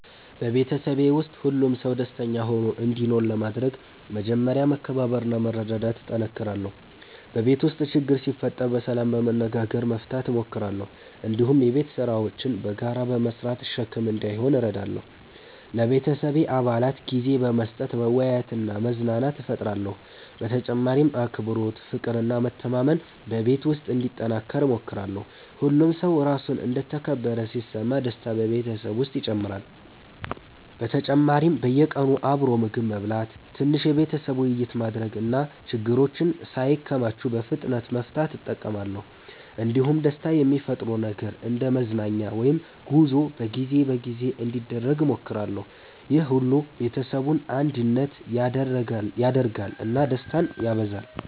በቤተሰቤ ውስጥ ሁሉም ሰው ደስተኛ ሆኖ እንዲኖር ለማድረግ መጀመሪያ መከባበርና መረዳዳት እጠነክራለሁ። በቤት ውስጥ ችግር ሲፈጠር በሰላም በመነጋገር መፍታት እሞክራለሁ። እንዲሁም የቤት ስራዎችን በጋራ በመስራት ሸክም እንዳይሆን እረዳለሁ። ለቤተሰቤ አባላት ጊዜ በመስጠት መወያየትና መዝናናት እፈጥራለሁ። በተጨማሪም አክብሮት፣ ፍቅር እና መተማመን በቤት ውስጥ እንዲጠናከር እሞክራለሁ። ሁሉም ሰው ራሱን እንደ ተከበረ ሲሰማ ደስታ በቤተሰብ ውስጥ ይጨምራል። በተጨማሪም በየቀኑ አብሮ ምግብ መብላት፣ ትንሽ የቤተሰብ ውይይት ማድረግ እና ችግሮችን ሳይከማቹ በፍጥነት መፍታት እጠቀማለሁ። እንዲሁም ደስታ የሚፈጥር ነገር እንደ መዝናኛ ወይም ጉዞ በጊዜ በጊዜ እንዲደረግ እሞክራለሁ። ይህ ሁሉ ቤተሰቡን አንድነት ያደርጋል እና ደስታን ያበዛል።